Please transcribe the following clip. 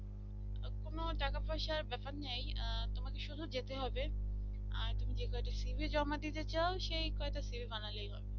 তখনো টাকা পয়সার ব্যাপার নেই তোমাকে শুধু যেতে হবে আর তুমি যে কয়টা cv জমা দিতে চাও সেই কয়টা cv বানালেই হবে